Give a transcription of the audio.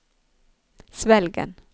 Svelgen